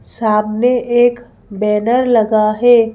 सामने एक बैनर लगा है।